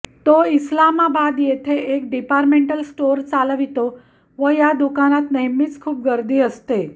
तो इस्लामाबाद येथे एक डिपार्टमेंट स्टोअर्स चालवितो व या दुकानात नेहमीच खूप गर्दी असते